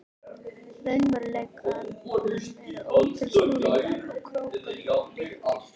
raunveruleikanum eru ótal snúningar og krókar og lykkjur.